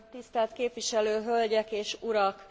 Tisztelt képviselő hölgyek és urak!